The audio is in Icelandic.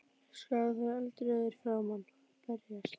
Öskrað á þá eldrauður í framan: Berjast!